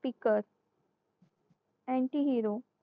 peaker lanky hero